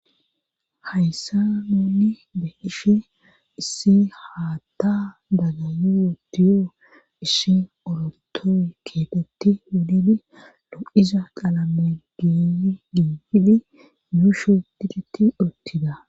Hayssa nuunni beheshe issi haatta daga yuodiyoo issi orotoy keetetti wuddidi lo7iza qalamediy giifidi yuushu diriti ortida